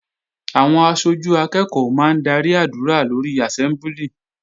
Àwọn aṣojú akẹ́ẹ̀kọ́ máa ń darí àdúrà lórí àsẹ́mbúlì